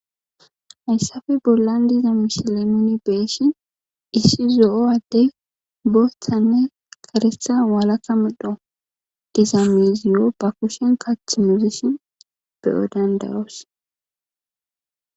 Bayssafe bollan diza mishilemoni beeshin issi zo7owaddey booththanne karestha walaka modho diza miziyo ba kushen kach muzishin beyo dandayos.